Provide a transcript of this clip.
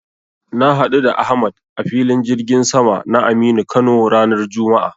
Na haɗu da Ahmad a Filin jirgin sama na Aminu Kano ranar juma'a.